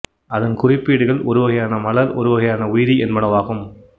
அதன் குறிப்பீடுகள் ஒரு வகையான மலர் ஒரு வகையான உயிரி என்பனவாகும்